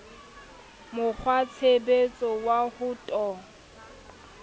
mo kgwatshebetso wa ho to